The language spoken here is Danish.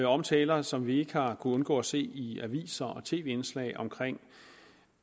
omtaler som vi ikke har undgå at se i aviser og tv indslag af